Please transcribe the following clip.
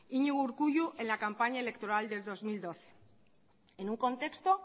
iñigo urkullu en la campaña electoral del dos mil doce en un contexto